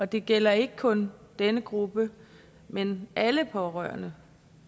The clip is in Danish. det gælder ikke kun denne gruppe men alle pårørende